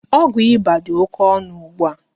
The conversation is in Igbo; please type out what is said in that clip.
Ọgwụ ịba dị oké ọnụ ugbua